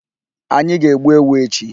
Anyị ga-egbu ewu echi.